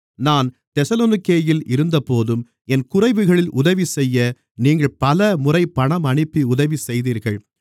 நான் தெசலோனிக்கேயில் இருந்தபோதும் என் குறைவுகளில் உதவிசெய்ய நீங்கள் பலமுறை பணம் அனுப்பி உதவி செய்தீர்கள்